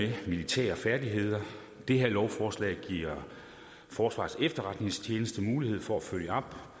de militære færdigheder det her lovforslag giver forsvarets efterretningstjeneste mulighed for at følge op